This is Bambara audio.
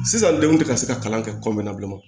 Sisan denw tɛ ka se ka kalan kɛ kɔnɔna bilen o